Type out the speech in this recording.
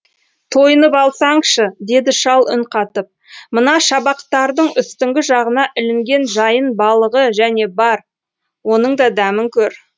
тойынып алсаңшы деді шал үн қатып мына шабақтардың үстіңгі жағына ілінген жайын балығы және бар оның да дәмін көр